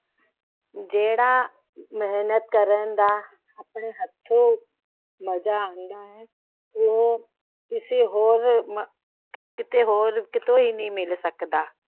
ਜਿਹੜਾ ਮੇਹਨਤ ਕਰਨ ਦਾ ਆਪਣੇ ਹੱਥੀ ਮਜ਼ਾ ਆਂਦਾ ਹੈ। ਕਿਤੋਂ ਹੀ ਨਹੀਂ ਮਿਲ ਸਕਦਾ।